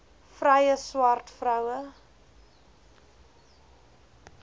vrye swart vroue